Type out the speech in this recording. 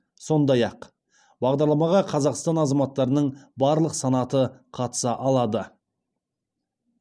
сондай ақ бағдарламаға қазақстан азаматтарының барлық санаты қатыса алады